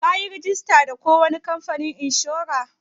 Ka yi rajista da ko wani kamfanin inshora?